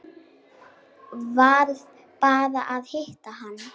Varð bara að hitta hana.